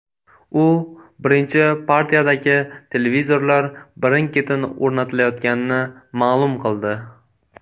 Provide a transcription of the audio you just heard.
U birinchi partiyadagi televizorlar birin-ketin o‘rnatilayotganini ma’lum qildi.